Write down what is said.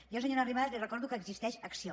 jo senyora arrimadas li recordo que existeix acció